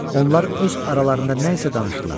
Onlar öz aralarında nəysə danışdılar.